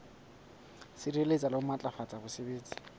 sireletsa le ho matlafatsa botsebi